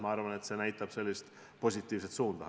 Ma arvan, et see näitab positiivset suunda.